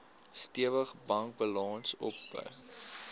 stewige bankbalans opgebou